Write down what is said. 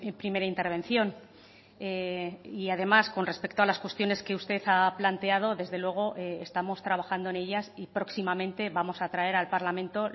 primera intervención y además con respecto a las cuestiones que usted ha planteado desde luego estamos trabajando en ellas y próximamente vamos a traer al parlamento